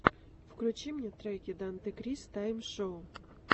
включи мне треки дантекрис тайм шоу